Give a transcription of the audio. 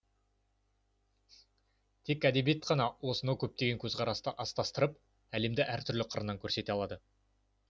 тек әдебиет қана осынау көптеген көзқарасты астастырып әлемді әр түрлі қырынан көрсете алады